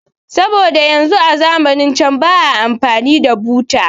Saboda yanzu a zamanance ba a amfani da buta